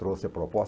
Trouxe a proposta.